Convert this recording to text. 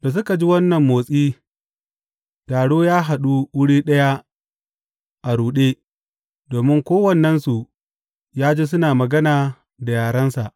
Da suka ji wannan motsi, taro ya haɗu wuri ɗaya a ruɗe, domin kowannensu ya ji suna magana da yarensa.